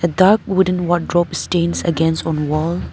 A dark wooden wardrobe stands against on wall.